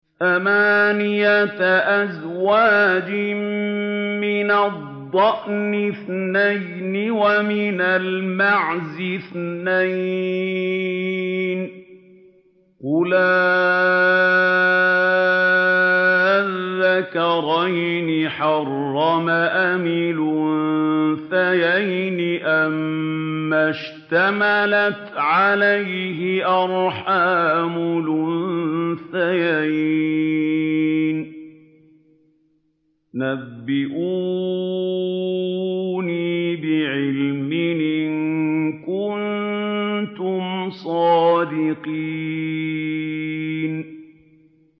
ثَمَانِيَةَ أَزْوَاجٍ ۖ مِّنَ الضَّأْنِ اثْنَيْنِ وَمِنَ الْمَعْزِ اثْنَيْنِ ۗ قُلْ آلذَّكَرَيْنِ حَرَّمَ أَمِ الْأُنثَيَيْنِ أَمَّا اشْتَمَلَتْ عَلَيْهِ أَرْحَامُ الْأُنثَيَيْنِ ۖ نَبِّئُونِي بِعِلْمٍ إِن كُنتُمْ صَادِقِينَ